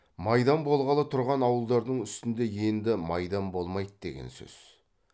майдан болғалы тұрған ауылдардың үстінде енді майдан болмайды деген сөз